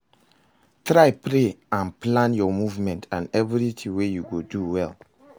Try pray and plan your movement and everything wey you go do well